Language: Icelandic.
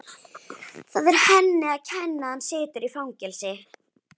Það er henni að kenna að hann situr í fangelsi.